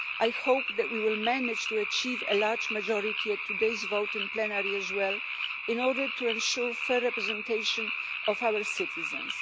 I hope that we will manage to achieve a large majority in today's vote in plenary as well, in order to ensure fair representation of our citizens.